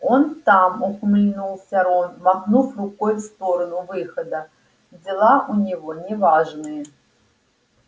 он там ухмыльнулся рон махнув рукой в сторону выхода дела у него неважные